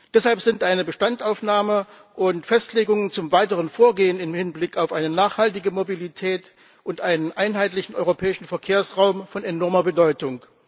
Deshalb sind eine Bestandsaufnahme und Festlegungen zum weiteren Vorgehen im Hinblick auf eine nachhaltige Mobilität und einen einheitlichen europäischen Verkehrsraum von enormer Bedeutung.